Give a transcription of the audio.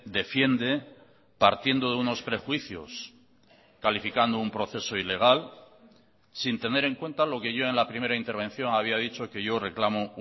defiende partiendo de unos prejuicios calificando un proceso ilegal sin tener en cuenta lo que yo en la primera intervención había dicho que yo reclamo